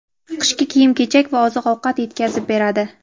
qishki kiyim-kechak va oziq-ovqat yetkazib beradi.